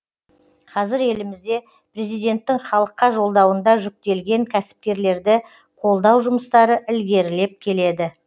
қазір елімізде президенттің халыққа жолдауында жүктелген кәсіпкерлерді қолдау жұмыстары ілгерілеп келеді